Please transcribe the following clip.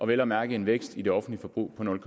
vel at mærke en vækst i det offentlige forbrug på nul